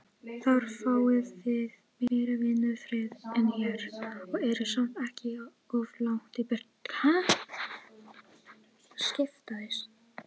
Húsbóndinn tekur um þau og teygir á kólfunum uns hann kemur hnífnum á bak við.